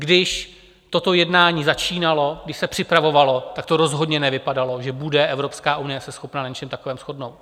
Když toto jednání začínalo, když se připravovalo, tak to rozhodně nevypadalo, že bude Evropská unie se schopna na něčem takovém shodnout.